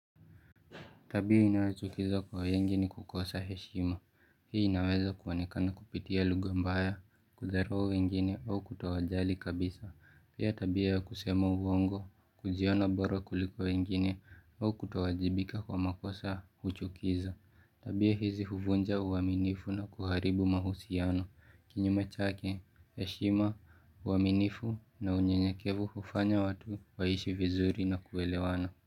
Tabia inayochukiza kwa wengi ni kukosa heshima. Hii inaweza kuwaonekana kupitia lugha mbaya, kudharau wengine au kutowajali kabisa. Pia tabia ya kusema uongo, kujiona boro kuliko wengine au kutowajibika kwa makosa huchukiza. Tabia hizi huvunja uaminifu na kuharibu mahusiano. Kinyume chake heshima uaminifu na unyenyekevu hufanya watu waishi vizuri na kuelewana.